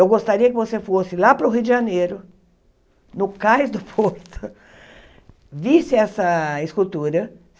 Eu gostaria que você fosse lá para o Rio de Janeiro, no Cais do Porto, visse essa escultura.